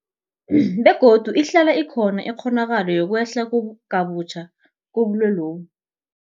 Begodu ihlala ikhona ikghonakalo yokwehla kabutjha kobulwelobu.